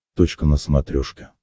точка на смотрешке